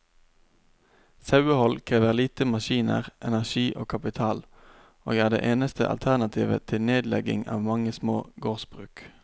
Sauehold krever lite maskiner, energi og kapital, og er det eneste alternativet til nedlegging av mange små gårdsbruk.